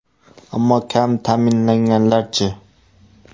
Ammo kam ta’minlanganlar-chi?